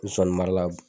Zonzani mara